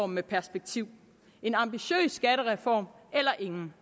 med perspektiv en ambitiøs skattereform eller ingen